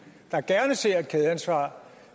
der gerne ser et kædeansvar